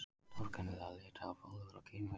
Torkennilegir Litháar, Pólverjar, Kínverjar